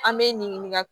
An bɛ nin ɲininkali